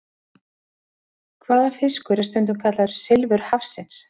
Hvaða fiskur er stundum kallaður silfur hafsins?